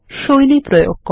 শৈলী প্রয়োগ করা